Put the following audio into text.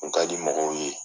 kun ka di mɔgɔw ye.